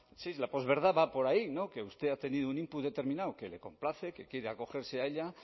sí la posverdad va por ahí que usted ha tenido un input determinado que le complace que quiere acogerse a ella